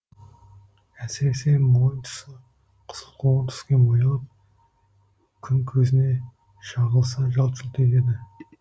әсіресе мойын тұсы қызылқоңыр түске боялып күн көзіне шағылыса жалт жұлт етеді